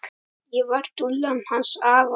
Ég var dúllan hans afa.